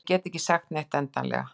En ég get ekki sagt neitt endanlega.